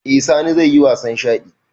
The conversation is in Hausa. Eh sani zaiyi wasan shaɗi